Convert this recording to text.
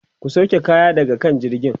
ku sauke kaya daga kan jirgin!